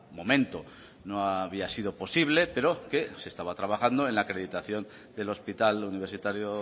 momento no había sido posible pero que se estaba trabajando en la acreditación del hospital universitario